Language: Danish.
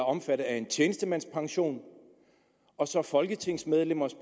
omfattet af en tjenestemandspension og så folketingsmedlemmers